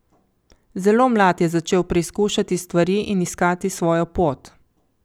Zelo mlad je začel preizkušati stvari in iskati svojo pot.